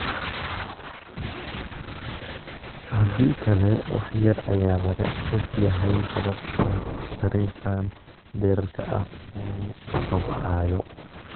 Haddii kale, wax yar ayaa laga og yahay sababta dariiqan dheeraadka ah u kobcayo.